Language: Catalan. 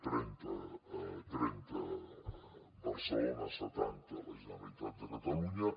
trenta barcelona setanta la generalitat de catalunya